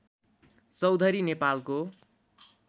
चौधरी नेपालको